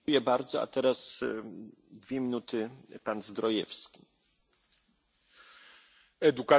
Panie Przewodniczący! Edukacja wymaga modernizacji.